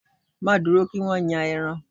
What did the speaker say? Má dúró kí wọ́n yan ẹran